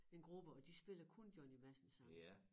En gruppe og de spiller kun Johnny Madsen sange